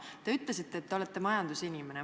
Te ütlesite ka, et te olete majandusinimene.